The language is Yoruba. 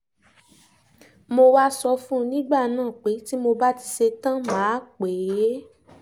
mo wáá sọ fún un nígbà náà pé tí mo bá ti ṣẹ̀tàn mà á pè é